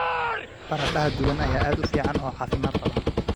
Baradhada duban ayaa aad u fiican oo caafimaad qaba.